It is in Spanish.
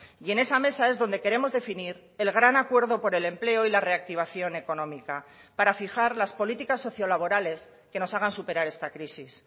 y en esa mesa es donde queremos definir el gran acuerdo por el empleo y la reactivación económica para fijar las políticas sociolaborales que nos hagan superar esta crisis